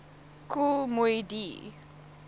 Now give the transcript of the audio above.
kool moe dee